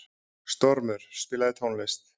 Stormur, spilaðu tónlist.